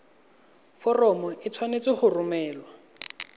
foromo e tshwanetse go romelwa